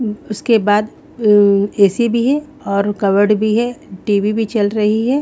उसके बाद अह ए_सी भी है और कवर्ड भी है टी_वी भी चल रही है।